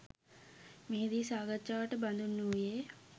මෙහිදී සාකච්ඡාවට බඳුන් වූයේ